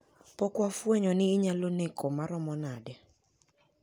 Pok wafwenyo ni onyalo neko maromo nade.